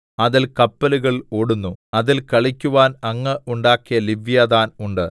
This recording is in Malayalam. അതിൽ കപ്പലുകൾ ഓടുന്നു അതിൽ കളിക്കുവാൻ അങ്ങ് ഉണ്ടാക്കിയ ലിവ്യാഥാൻ ഉണ്ട്